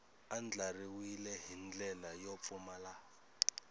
andlariwile hi ndlela yo pfumala